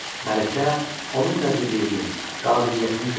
Mələkə onun nəcibliyini, qabiliyyətini gördü.